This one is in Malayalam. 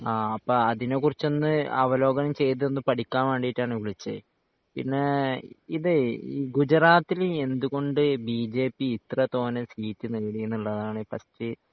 ആഹ് അപ്പൊ അതിനെ കുറിച്ച് ഒന്ന് അവലോകനം ചെയ്ത് ഒന്ന് പഠിക്കാൻ വേണ്ടീട്ടാണ് വിളിച്ചേ പിന്നെ ഇതേ ഈ ഗുജറാത്തിൽ എന്തുകൊണ്ട് ബിജെപി ഇത്ര തോനെ സീറ്റ് നേടീനുള്ളതാണ് ഫസ്റ്റ്